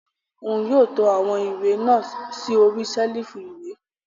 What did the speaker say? Òún yóò to awọn ìwé náà sí ori ṣelifu ìwé